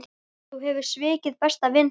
Þú hefur svikið besta vin þinn.